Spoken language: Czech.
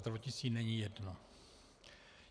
Zdravotnictví není jedno.